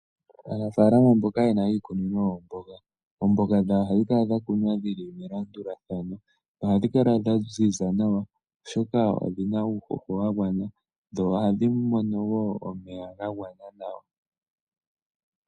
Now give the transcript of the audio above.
Aanafalama mboka ye na iikunino yoomboga, oomboga dhawo ohadhi kala dha kunwa dhi li melandulathano. Ohadhi kala dha ziza nawa, oshoka odhi na uuhoho wa gwana, dho ohadhi mono wo omeya ga gwana nawa.